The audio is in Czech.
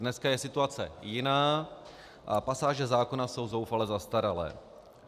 Dneska je situace jiná a pasáže zákona jsou zoufale zastaralé.